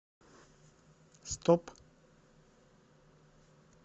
стоп